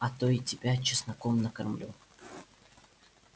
а то и тебя чесноком накормлю